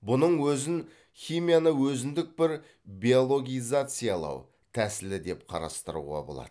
бұның өзін химияны өзіндік бір биологизациялау тәсілі деп қарастыруға болады